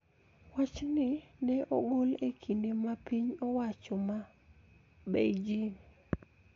Wachni ne ogol e kinde ma piny owacho ma Beijing